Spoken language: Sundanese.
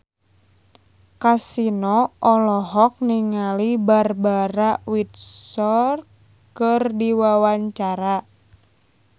Kasino olohok ningali Barbara Windsor keur diwawancara